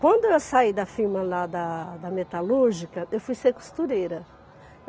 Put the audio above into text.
Quando eu saí da firma lá da da metalúrgica, eu fui ser costureira.